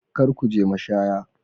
Kar ku je mashaya.